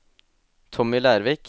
Tommy Lervik